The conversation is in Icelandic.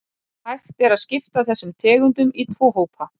Mikill verðmunur reyndist vera á bökunarvörum